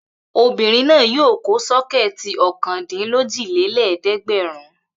Obìnrin náà yóò kó sọ́kẹ́tì ọ̀kàndílójìlé lẹ́ẹ̀dẹ́gbẹ̀rún.